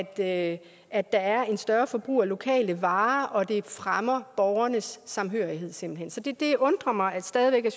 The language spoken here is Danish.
at at der er et større forbrug af lokale varer og at det simpelt hen fremmer borgernes samhørighed så det undrer mig stadig væk at